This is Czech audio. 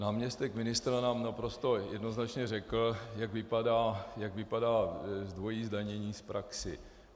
Náměstek ministra nám naprosto jednoznačně řekl, jak vypadá dvojí zdanění v praxi.